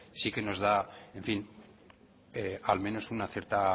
sí que nos da al menos una cierta